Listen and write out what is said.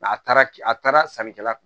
a taara ki a taara sannikɛla